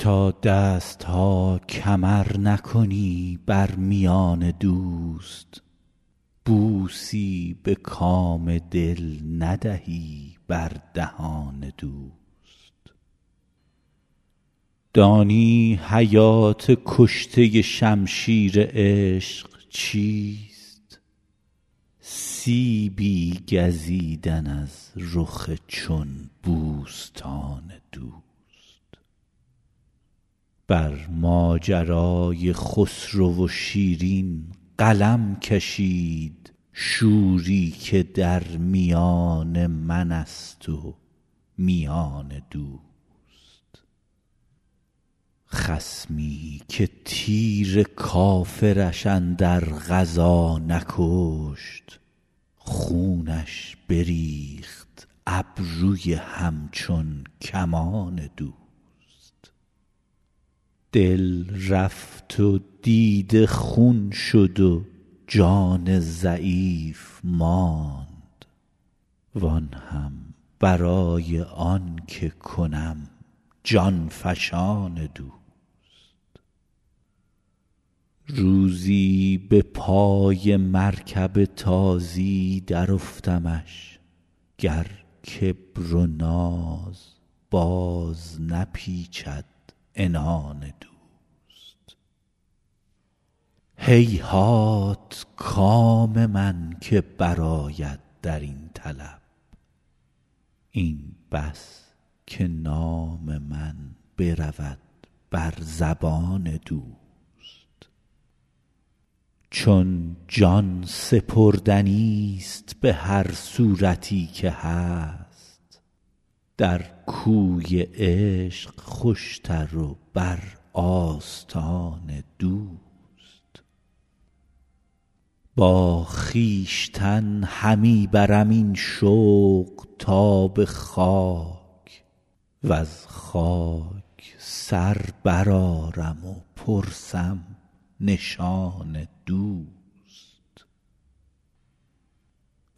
تا دست ها کمر نکنی بر میان دوست بوسی به کام دل ندهی بر دهان دوست دانی حیات کشته شمشیر عشق چیست سیبی گزیدن از رخ چون بوستان دوست بر ماجرای خسرو و شیرین قلم کشید شوری که در میان من است و میان دوست خصمی که تیر کافرش اندر غزا نکشت خونش بریخت ابروی همچون کمان دوست دل رفت و دیده خون شد و جان ضعیف ماند وآن هم برای آن که کنم جان فشان دوست روزی به پای مرکب تازی درافتمش گر کبر و ناز باز نپیچد عنان دوست هیهات کام من که برآید در این طلب این بس که نام من برود بر زبان دوست چون جان سپردنیست به هر صورتی که هست در کوی عشق خوشتر و بر آستان دوست با خویشتن همی برم این شوق تا به خاک وز خاک سر برآرم و پرسم نشان دوست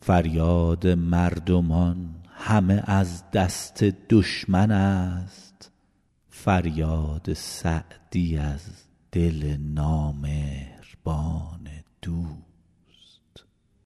فریاد مردمان همه از دست دشمن است فریاد سعدی از دل نامهربان دوست